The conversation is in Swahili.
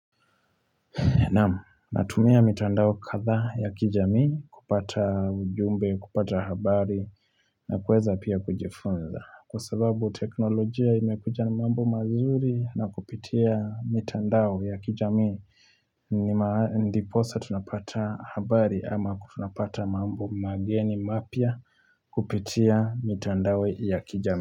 Na tumia mitandao kadhaa ya kijami kupata ujumbe, kupata habari na kuweza pia kujifunza. Kwa sababu teknolojia imekuja na mambo mazuri na kupitia mitandao ya kijamii ndiposa tunapata habari ama tunapata mambo mageni mapya kupitia mitandao ya kijamii.